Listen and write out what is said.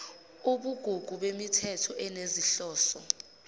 ubugugu bemithetho enezinhloso